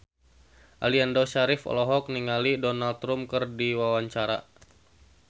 Aliando Syarif olohok ningali Donald Trump keur diwawancara